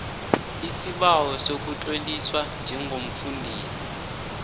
isibawo sokutloliswa njengomfundisi